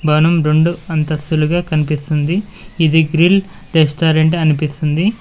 భవనం రెండు అంతస్తులుగా కనిపిస్తుంది ఇది గ్రిల్ రెస్టారెంట్ అనిపిస్తుంది.